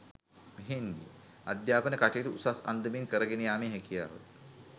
අධ්‍යාපන කටයුතු උසස් අන්දමින් කරගෙන යාමේ හැකියාව